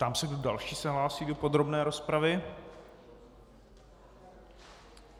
Ptám se, kdo další se hlásí do podrobné rozpravy.